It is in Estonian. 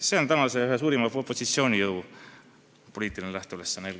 See on praegu eelkõige ühe suurima opositsioonijõu poliitiline lähteülesanne.